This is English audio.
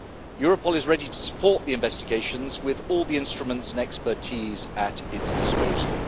Europol is ready to support the investigations with all the instruments and expertise at its disposal.